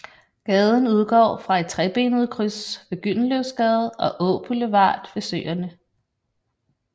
Gaden udgår fra et trebenet kryds med Gyldenløvesgade og Åboulevard ved Søerne